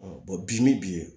bi min bi